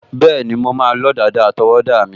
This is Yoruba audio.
Bẹ́ẹ̀ni, mo máa lọ́ dàda àtọwọ́dá mi